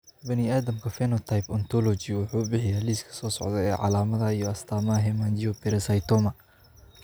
Bani'aadamka Phenotype Ontology wuxuu bixiyaa liiska soo socda ee calaamadaha iyo astaamaha Hemangiopericytoma.